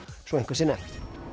svo eitthvað sé nefnt